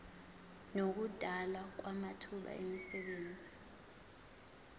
nokudalwa kwamathuba emisebenzi